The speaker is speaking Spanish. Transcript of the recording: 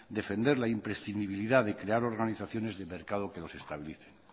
defender la imprescindibilidad de crear organizaciones de mercado que los estabilicen